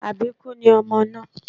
Àbíkú ni ọmọ náà